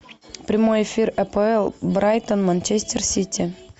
прямой эфир апл брайтон манчестер сити